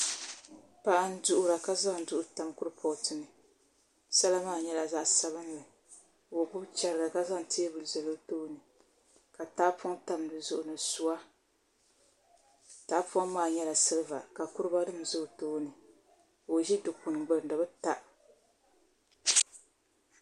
Paɣa n duɣura ka zaŋ duɣu tam kurifooti ni sala maa nyɛla zaɣ sabinli ka o gbubi chɛriga ka zaŋ teebuli zali o tooni ka tahapoŋ tam dizuɣu ni suwa tahapoŋ maa nyɛla silba ka kuriga nim ʒɛ o tooni ka o ʒi Dikpuni gbuni di bi ta